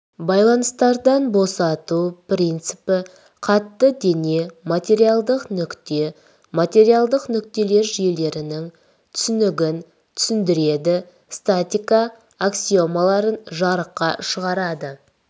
байланыстардан босату принципі қатты дене материалдық нүкте материалдық нүктелер жүйелерінің түсінігін түсіндіреді статика аксиомаларын жарыққа шығарады